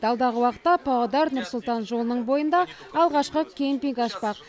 алдағы уақытта павлодар нұр сұлтан жолының бойында алғашқы кэмпинг ашпақ